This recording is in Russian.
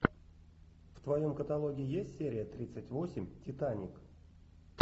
в твоем каталоге есть серия тридцать восемь титаник